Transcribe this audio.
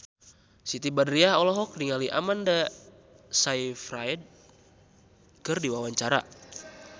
Siti Badriah olohok ningali Amanda Sayfried keur diwawancara